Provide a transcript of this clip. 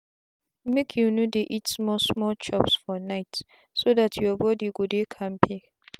make you no dey eat small small chops for nightso dt you body go dey kampe.